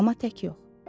Amma tək yox.